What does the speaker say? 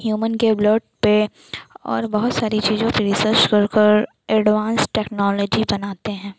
Human के blood पे और बहुत सारी चीजों पर रिसर्च कर कर अड्वान्स टेक्नॉलजी बनाता हैं।